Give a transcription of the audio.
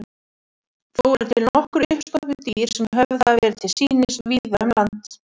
Þó eru til nokkur uppstoppuð dýr sem höfð hafa verið til sýnis víða um land.